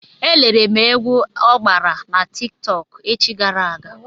E lere m egwu ọ gbara na Tik tọk echi gara aga.